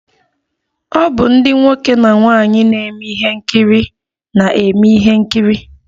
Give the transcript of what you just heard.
O bụ ndi nwoke na nwaanyi na eme ihe nkiri na-eme ihe nkiri